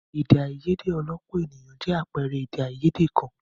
Èdè àìyedè ọlọ́pọ̀ ènìyàn jẹ́ àpẹẹrẹ èdè àìyedè kan.